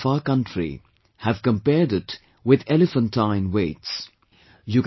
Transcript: The newspapers of our country have compared it with elephantine weights